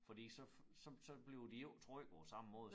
Fordi så så så bliver de jo ikke trykket på samme måde